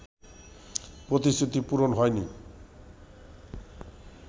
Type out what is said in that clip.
প্রতিশ্রুতি পূরণ হয়নি